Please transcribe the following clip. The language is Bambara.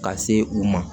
Ka se u ma